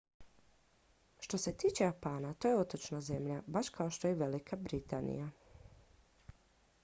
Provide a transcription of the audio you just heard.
što se tiče japana to je otočna zemlja baš kao što je velika britanija